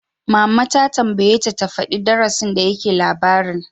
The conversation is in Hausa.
Mama ta tambayeta ta faɗi darasin da yake labarin!